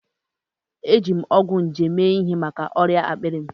Eji m ọgwụ nje mee ihe maka ọrịa akpịrị m.